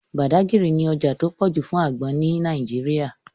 Badagry ní ọjà tó pọ̀ jù fún àgbọn ní Nàìjíríà